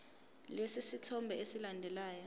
lesi sithombe esilandelayo